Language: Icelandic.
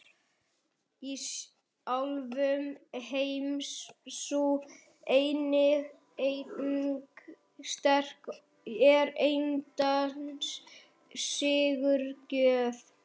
Í álfum heims sú eining sterk er andans sigurgjöf.